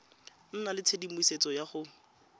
nna le tshedimosetso ya go